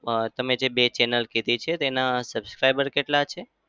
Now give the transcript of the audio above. અમ તમે જે બે channel કીધી છે તેના subscriber કેટલા છે?